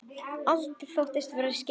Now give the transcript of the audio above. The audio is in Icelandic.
Alda þóttist aldrei vera skyggn.